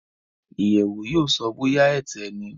iyewo yóò so bóyá Ẹ̀tẹ ní